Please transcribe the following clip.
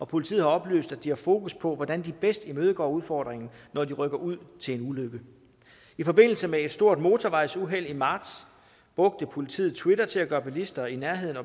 politiet har oplyst at de har fokus på hvordan de bedst imødegår udfordringen når de rykker ud til en ulykke i forbindelse med et stort motorvejsuheld i marts brugte politiet twitter til at gøre bilister i nærheden